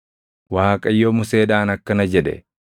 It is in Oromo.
Waaqayyo Museedhaan akkana jedhe;